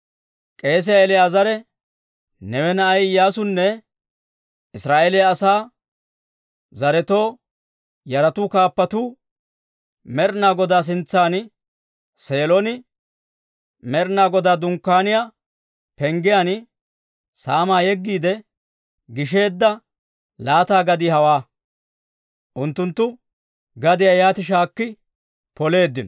K'eesiyaa El"aazare, Neewe na'ay Iyyaasunne Israa'eeliyaa asaa zaretoo yaratuu kaappatuu Med'ina Godaa sintsan Seelon, Med'ina Godaa Dunkkaaniyaa penggiyaan saamaa yeggiide, gisheedda laata gadii hawaa. Unttunttu gadiyaa yaati shaakki poleeddino.